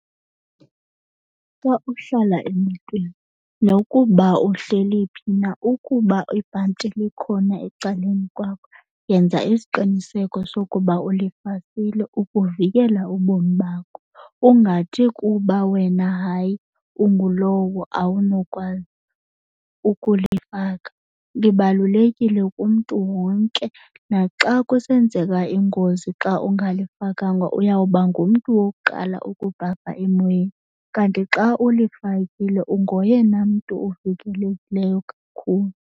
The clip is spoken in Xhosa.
Xa uhlala emotweni nokuba uhleli phi na ukuba ibhanti likhona ecaleni kwakho yenza isiqiniseko sokuba ulifakile ukuvikela ubomi bakho ungathi kuba wena hayi ungulowo awunokwazi ukulifaka, libalulekile kumntu wonke. Naxa kusenzeka ingozi xa ungalifakanga uyawuba ngumntu wokuqala ukubhabha emoyeni kanti xa ulifakile ungoyena mntu uvikekileyo kakhulu.